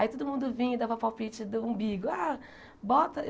Aí todo mundo vinha e dava palpite do umbigo. Ah bota